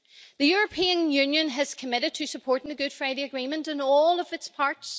The European Union has committed to supporting the Good Friday Agreement, in all of its parts.